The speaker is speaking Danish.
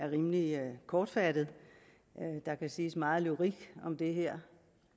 rimelig kortfattet der kan siges meget lyrik om det her